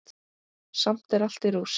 Samt er allt í rúst.